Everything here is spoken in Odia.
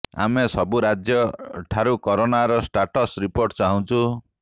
ଆମେ ସବୁ ରାଜ୍ୟ ଠାରୁ କରୋନାର ଷ୍ଟାଟସ ରିପୋର୍ଟ ଚାହୁଁଛୁ